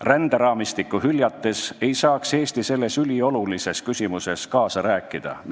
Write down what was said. Ränderaamistikku hüljates ei saaks Eesti selles üliolulises küsimuses kaasa rääkida.